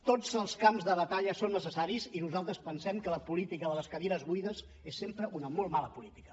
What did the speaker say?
tots els camps de batalla són necessaris i nosaltres pensem que la política de les cadires buides és sempre una molt mala política